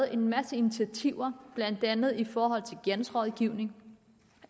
en masse initiativer blandt andet i forhold til gældsrådgivning